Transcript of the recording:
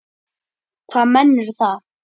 Hvaða menn eru það?